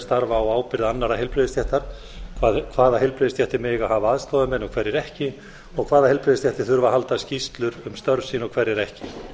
starfa á ábyrgð annarra heilbrigðisstéttar hvaða heilbrigðisstéttir mega hafa aðstoðarmenn og hverjir ekki og hvaða heilbrigðisstéttir þurfa að halda skýrslur um störf sín og hverjar ekki